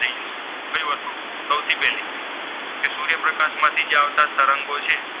અવકાશમાંથી આવતા જે તરંગો છે